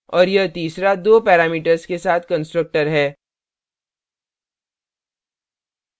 और यह तीसरा दो parameters के साथ constructor है